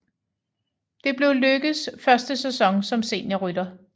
Det blev Lykkes første sæson som seniorrytter